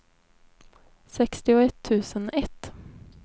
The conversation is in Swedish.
sextioett tusen ett